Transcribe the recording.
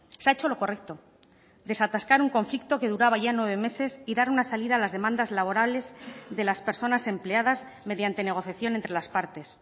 se ha hecho lo correcto desatascar un conflicto que duraba ya nueve meses y dar una salida a las demandas laborales de las personas empleadas mediante negociación entre las partes